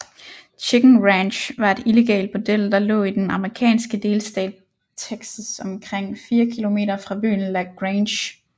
Chicken Ranch var et illegalt bordel der lå i den amerikanske delstat Texas omkring 4 kilometer fra byen La Grange